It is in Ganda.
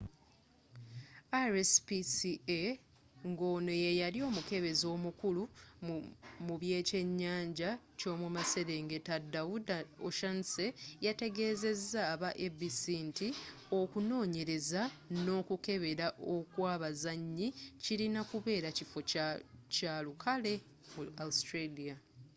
rspca ngono yeyali omukebezi omukulu mubekyenyanja kyomumaserengeta dawuda o'shannessy yategezeza aba abc nti okunonyereza nokukebera okwabazanyi kirina kubeera kifo kyalukale mu australia